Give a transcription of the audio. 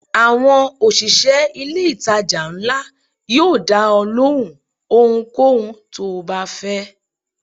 Àwọn òṣìṣẹ́ ilé ìtajà ńlá yóò dá ọ lóhùn ohunkóhun tó o bá fẹ́.